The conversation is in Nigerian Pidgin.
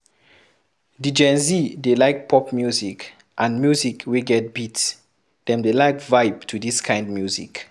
Di gen Z dey like pop music and music wey get beat, dem dey like vibe to this kind music